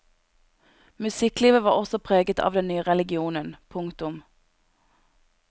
Musikklivet var også preget av den nye religionen. punktum